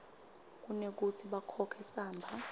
kunekutsi bakhokhe samba